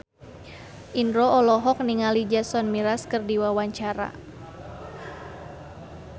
Indro olohok ningali Jason Mraz keur diwawancara